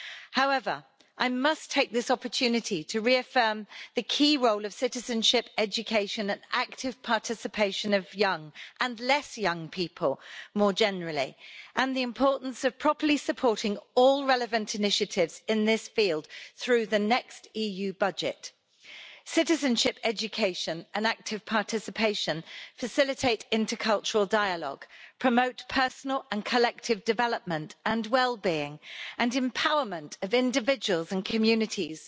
However, I must take this opportunity to reaffirm the key role of citizenship, education and active participation of young and less young people more generally, and the importance of properly supporting all relevant initiatives in this field through the next EU budget. Citizenship, education and active participation facilitate intercultural dialogue, and promote personal and collective development and wellbeing and empowerment of individuals and communities.